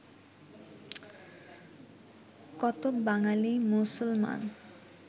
কতক বাঙালি মুসলমান